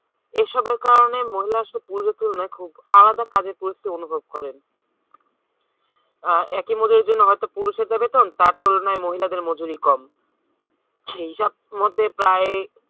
এসবের কারণে মহিলা শুধু পুরুষের তুলনায় খুব আলাদা কাজের পরিস্থিতি অনুভব করেন আহ একই মজুরির জন্য হয়তো পুরুষের যা বেতন তার তুলনায় মহিলাদের মজুরি কম সেই হিসাব মতে প্রায়